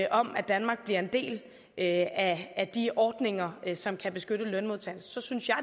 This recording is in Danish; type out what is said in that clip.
om at danmark bliver en del af af de ordninger som kan beskytte lønmodtagerne så synes jeg